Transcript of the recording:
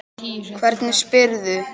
Hvernig spyrðu.